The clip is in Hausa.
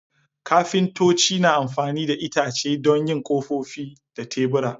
Kafintoci na amfani da itace don yin kofofi da tebura.